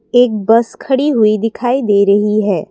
एक बस खड़ी हुई दिखाई दे रही है।